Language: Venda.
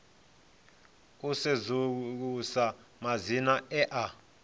u sedzulusa madzina e a